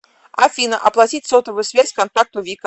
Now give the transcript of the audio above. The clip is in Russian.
афина оплатить сотовую связь контакту вика